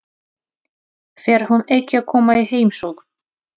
Fer hún ekki að koma í heimsókn?